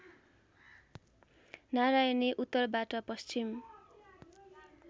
नरायणी उत्तरबाट पश्चिम